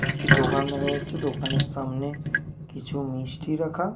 একটি দোকান দেখা যাচ্ছে। দোকানের সামনে কিছু মিষ্টি রাখা।